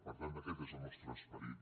per tant aquest és el nostre esperit